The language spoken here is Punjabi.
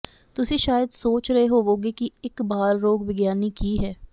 ਤੁਸੀਂ ਸ਼ਾਇਦ ਸੋਚ ਰਹੇ ਹੋਵੋਗੇ ਕਿ ਇਕ ਬਾਲ ਰੋਗ ਵਿਗਿਆਨੀ ਕੀ ਹੈ